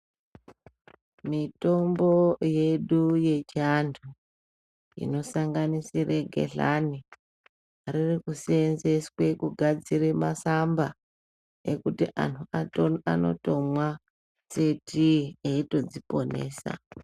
Mitombo yedu yechiantu inosanganisire gehlani riri kuseenzeswe kugadzire masamba ekuti anhu anotoma mwise tii eitodziponesa.